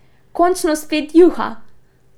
Končno spet juha!